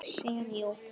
Pulsu með öllu.